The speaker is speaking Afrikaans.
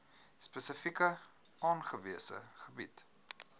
spesifiek aangewese gebiede